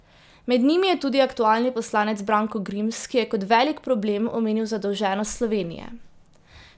Med njimi je tudi aktualni poslanec Branko Grims, ki je kot velik problem omenil zadolženost Slovenije.